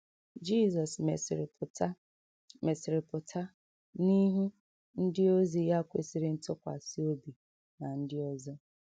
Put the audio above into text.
Jizọs mesịrị pụta mesịrị pụta n’ihu ndịozi ya kwesịrị ntụkwasị obi na ndị ọzọ.